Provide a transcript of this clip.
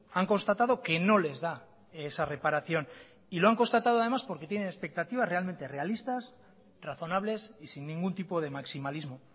han constatado que no les da esa reparación y lo han constatado además porque tiene expectativas realmente realistas razonables y sin ningún tipo de maximalismo